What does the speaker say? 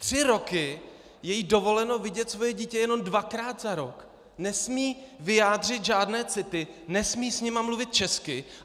Tři roky je jí dovoleno vidět svoje dítě jenom dvakrát za rok, nesmí vyjádřit žádné city, nesmí s nimi mluvit česky!